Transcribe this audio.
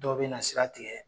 Dɔ bɛna sira tigɛ